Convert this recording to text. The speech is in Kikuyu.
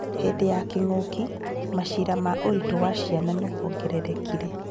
Hĩndĩ ya kĩng'ũki, macira ma ũritũ wa ciana nĩwongererekire